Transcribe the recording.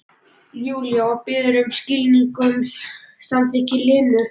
Júlía og biður um skilning, um samþykki Lenu.